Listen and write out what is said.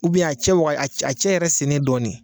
a cɛ waga a cɛ a cɛ yɛrɛ sennen dɔɔnin.